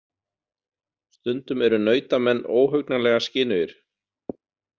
Stundum eru nautamenn óhugnanlega skynugir.